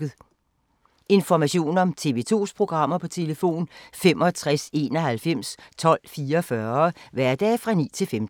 Information om TV 2's programmer: 65 91 12 44, hverdage 9-15.